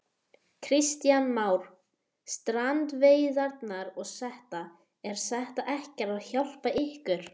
Kristján Már: Strandveiðarnar og þetta, er þetta ekkert að hjálpa ykkur?